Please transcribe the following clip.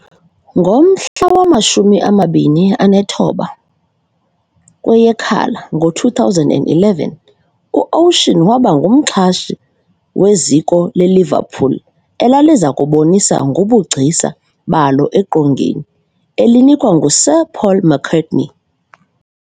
Ngomhla wama-29 kweYekhala, ngo2011, uOcean waba ngumxhasi weziko leLiverpool elalizakubonisa ngobugcisa balo eqongeni, elinikwa nguSir Paul McCartney.